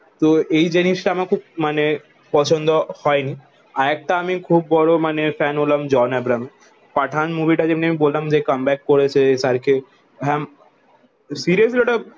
তো এই জিনিস তা আমার খুব মানে পছন্দ হয়নি আর একটা আমি খুব বড়ো মানে ফ্যান হলাম জন ব্রাহিম এর পাঠান মুভি তা যেমনি আমি বললাম যে কম বাক করেছে SRK হম সিরিয়াসলি ওটা